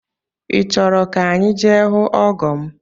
I chọrọ ka anyị je hụ ọgọ m?